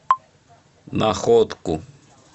находку